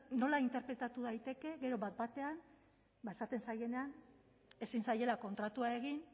nola interpretatu daiteke gero bat batean ba esaten zaienean ezin zaiela kontratua egin